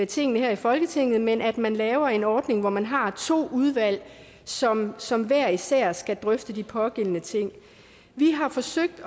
tingene her i folketinget men at man laver en ordning hvor man har to udvalg som som hver især skal drøfte de pågældende ting vi har forsøgt